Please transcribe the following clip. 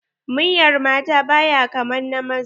Muryar mata baya kaman na maza.